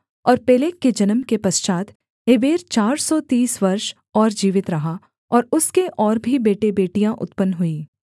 और पेलेग के जन्म के पश्चात् एबेर चार सौ तीस वर्ष और जीवित रहा और उसके और भी बेटेबेटियाँ उत्पन्न हुईं